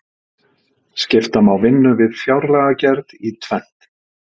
Skipta má vinnu við fjárlagagerð í tvennt.